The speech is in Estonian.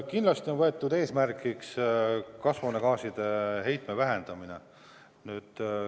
Kindlasti on võetud eesmärgiks kasvuhoonegaaside heitme vähendamine.